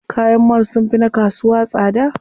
Kayan mall sunfi na kasuwa tsada.